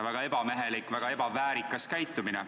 Väga ebamehelik, väga ebaväärikas käitumine.